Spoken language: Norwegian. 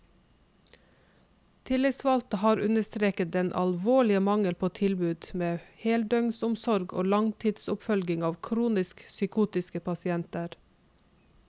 Tillitsvalgte har understreket den alvorlige mangel på tilbud med heldøgnsomsorg og langtidsoppfølging av kronisk psykotiske pasienter.